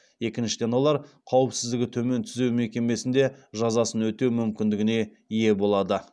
екіншіден олар қауіпсіздігі төмен түзеу мекемесінде жазасын өтеу мүмкіндігіне ие болады